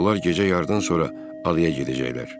Onlar gecə yardan sonra adaya gedəcəklər.